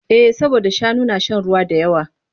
Eh saboda shanu na shan ruwa da yawa.